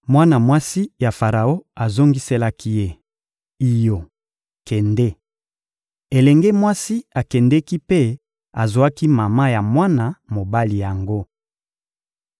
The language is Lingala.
Mwana mwasi ya Faraon azongiselaki ye: — Iyo, kende! Elenge mwasi akendeki mpe azwaki mama ya mwana mobali yango.